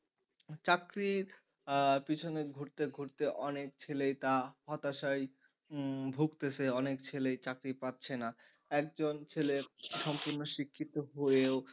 চাকরির আহ পিছনে ঘুরতে ঘুরতে অনেক ছেলেই তা হতাশায় উম ভুগতেছে অনেক ছেলে চাকরি পাচ্ছে না একজন ছেলের সম্পূর্ণ শিক্ষিত হয়েও,